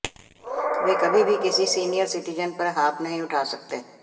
वह कभी भी किसी सीनियर सिटिजन पर हाथ नहीं उठा सकते